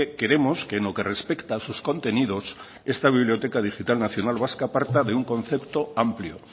queremos que en lo que respecta a sus contenidos esta biblioteca digital nacional vasca parta de un concepto amplio